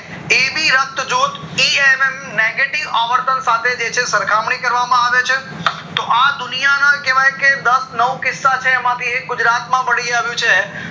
AB રક્ત જૂથ negative આવર્તન સાથે જે છે સરખામણી કરવામાં આવે છે તો આ દુનિયાના કેવાય કે દસ નવ કિસ્સા છે એમાં થી એક ગુજરાત માંથી મળી આવ્યું છે